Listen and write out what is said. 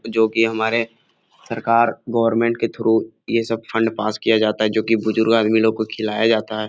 जो की हमारे सरकार गवर्नमेंट के थ्रू ये सब फण्ड पास किया जाता है जो की बुजुर्ग आदमी लोग को खिलाया जाता है ।